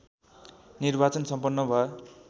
निर्वाचन सम्पन्न भयो